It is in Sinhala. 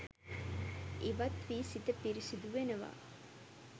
ඉවත් වී සිත පිරිසුදු වෙනවා.